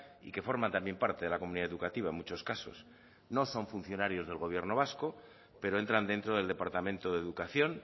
y que forman también parte de la comunidad educativa en muchos casos no son funcionarios del gobierno vasco pero entran dentro del departamento de educación